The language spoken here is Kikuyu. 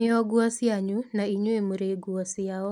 Nĩo nguo cianyu, na inyuĩ mũrĩ nguo ciao.